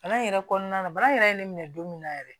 Bana in yɛrɛ kɔnɔna na bana in yɛrɛ ye ne minɛ don min na yɛrɛ